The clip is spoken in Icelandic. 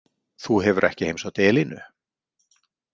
Þú hefur ekki heimsótt Elínu?